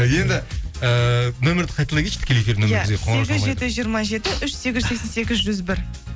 енді ііі нөмірді қайталай кетші тікелей эфирдің жиырма жеті үш сегіз жүз сексен сегіз жүз бір